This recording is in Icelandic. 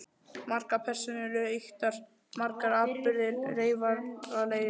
Margar persónur eru ýktar, margir atburðir reyfaralegir.